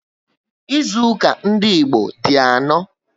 Ịzụuka ndị Igbo di anọ